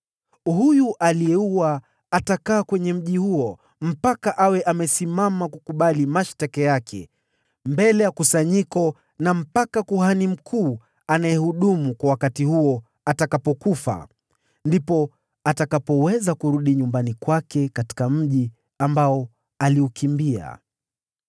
Huyu aliyeua atakaa kwenye mji mkubwa huo mpaka awe amesimama kukabili mashtaka yake mbele ya kusanyiko na mpaka kuhani mkuu anayehudumu kwa wakati huo atakapokufa. Ndipo atakapoweza kurudi nyumbani kwake katika mji ambao aliukimbia.”